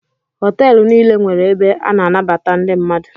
Họtelụ niile nwere ebe a na-anabata ndị mmadụ.